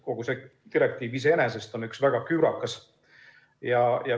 Kogu see direktiiv iseenesest on väga küürakas.